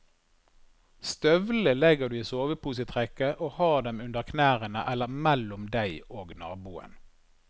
Støvlene legger du i soveposetrekket og har dem under knærne eller mellom deg og naboen.